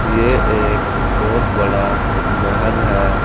ये एक बहुत बड़ा महल है।